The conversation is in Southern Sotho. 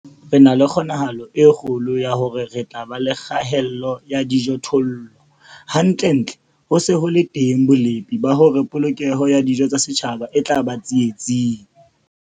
Re na le kgonahalo e kgolo ya hore re tla ba le kgaello ya dijothollo, hantlentle ho se ho le teng bolepi ba hore polokeho ya dijo tsa setjhaba e tla ba tsietsing.